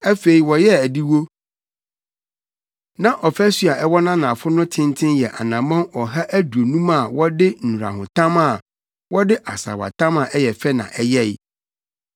Afei, wɔyɛɛ adiwo. Na ɔfasu a ɛwɔ nʼanafo no ne tenten yɛ anammɔn ɔha aduonum a wɔde nnurahotam a wɔde asaawatam a ɛyɛ fɛ na ɛyɛe.